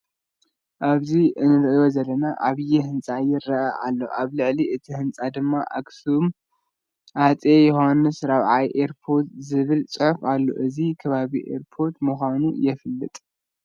ኣብዚ እንርእዮ ዘለና ዓብይ ህንፃ ይረኣ ኣሎ። ኣብ ልዕሊ እቲ ህንፃ ድማ " ኣክሱም ኣፄ ዮሓንስ ራብዓይ ኤርፖርት" ዝበል ፅሑፍ ኣሎ። እዚ ከባቢ ኤርፖርት ምኳኑ የፍለጥ።